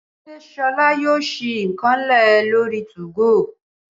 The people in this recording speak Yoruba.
Ṣé solá yóò sì ìkànnlé lori 2go?